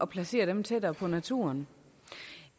placeret tættere på naturen